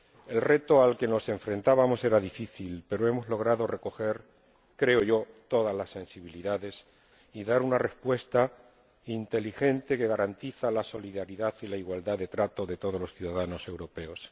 El reto al que nos enfrentábamos era difícil, pero hemos logrado recoger —creo yo— todas las sensibilidades y dar una respuesta inteligente que garantiza la solidaridad y la igualdad de trato de todos los ciudadanos europeos.